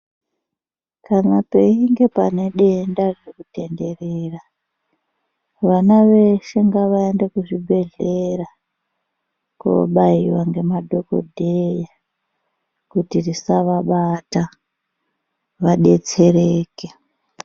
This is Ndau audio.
Kana peinge panedenda ririkutenderera vana veshe ngavaende kuzvibhedhlera kobaiva ngemadhogodheya, kuti risavabata vabetsereke.